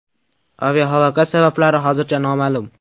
Aviahalokat sabablari hozircha noma’lum.